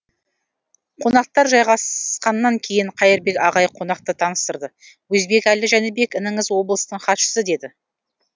қонақтар жайғасқаннан кейін қайырбек ағай қонақты таныстырды өзбекәлі жәнібек ініңіз облыстың хатшысы деді